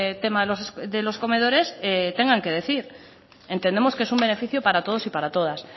tema de los comedores tengan que decir entendemos que es un beneficio para todos y para todas